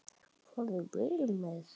Farðu vel með þau.